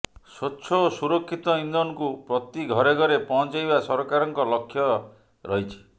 ସ୍ୱଚ୍ଛ ଓ ସୁରକ୍ଷିତ ଇନ୍ଧନକୁ ପ୍ରତି ଘରେ ଘରେ ପହଁଚେଇବା ସରକାରଙ୍କ ଲକ୍ଷ୍ୟ ରହିଛି